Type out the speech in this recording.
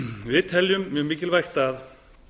við teljum mjög mikilvægt að